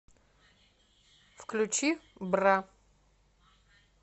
включи бра